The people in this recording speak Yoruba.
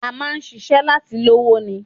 A máa ń ṣiṣẹ́ láti lówó ni